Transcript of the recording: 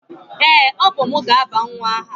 Ee, ọ bụ m ga-aba nwa m aha.